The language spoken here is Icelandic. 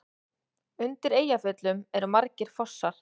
Undir Eyjafjöllum eru margir fossar.